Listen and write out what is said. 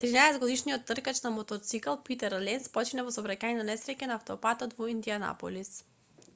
13-годишниот тркач на мотоцикл питер ленц почина во сообраќајна несреќа на автопатот во индијанаполис